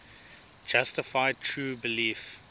justified true belief